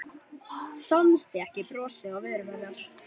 Þoldi ekki brosið á vörum hennar.